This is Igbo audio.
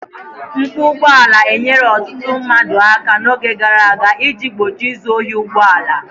Mkpu ụgbọ ala enyere ọtụtụ mmadụ aka n'oge gara aga iji gbochie izu ohi ụgbọ ala.